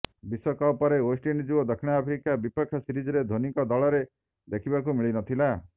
ବିଶ୍ୱକପ ପରେ ୱେଷ୍ଟଇଣ୍ଡିଜ୍ ଓ ଦକ୍ଷିଣ ଆଫ୍ରିକା ବିପକ୍ଷ ସିରିଜରେ ଧୋନିଙ୍କ ଦଳରେ ଦେଖିବାକୁ ମିଳିନଥିଲା